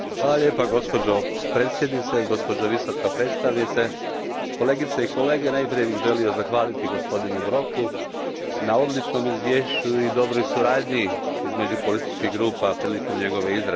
Gospođo predsjednice, gospođo Visoka predstavnice, kolegice i kolege, najprije bih želio zahvaliti gospodinu Broku na odličnom izvješću i dobroj suradnji između političkih grupa prilikom njegove izrade.